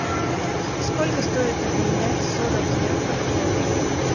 сколько стоит обменять сорок евро в доллары